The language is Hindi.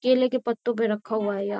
केले के पत्तो पे रखा हुआ है। यहाँ --